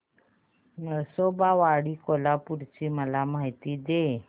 नृसिंहवाडी कोल्हापूर ची मला माहिती दे